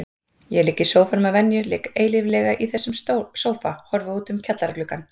Ég ligg í sófanum að venju, ligg eilíflega í þessum sófa, horfi út um kjallaragluggann.